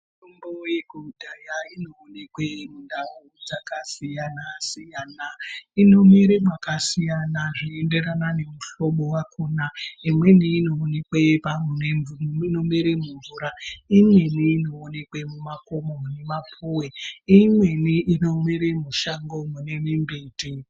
Mitombo yekudhaya inoonekwa mundau dzakasiyana siyana inowira makasiyana zvichienderana nemihlobo yakona imweni inoonekwa mumvura imweni inoonekwaumvura imweni inoonekwa mumakomo mune mapuwe imweni inomera mushango mune mimbiti.